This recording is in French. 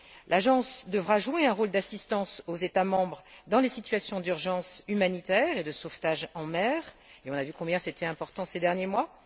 L'Agence devra prêter assistance aux États membres dans les situations d'urgence humanitaire et de sauvetage en mer et nous avons vu combien cela était important ces derniers mois.